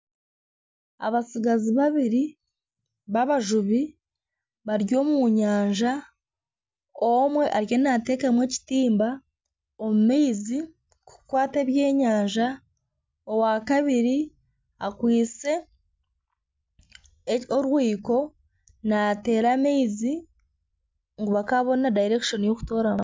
Abatsigazi babiri babajubi bari omu nyanja omwe ariyo nateekamu ekitimba omu maizi kukwata ebyenyanja owakabiri akwaitse orwiko naateera amaizi ngu bakaabona dayirekishoni y'okutooramu